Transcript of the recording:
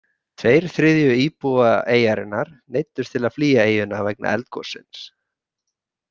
Tveir þriðju íbúa eyjarinnar neyddust til að flýja eyjuna vegna eldgossins.